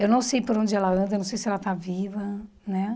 Eu não sei por onde ela anda, não sei se ela está viva né.